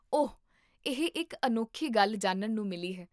ਓਹ! ਇਹ ਇੱਕ ਅਨੋਖੀ ਗੱਲ ਜਾਣਨ ਨੂੰ ਮਿਲੀ ਹੈ